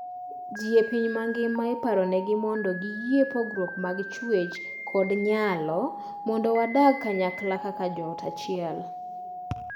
Jii e piny mangima iparonegi mondo giyie pogruokwa mag chwech kod nyalo mondo wadag kanyakla kaka joot achiel.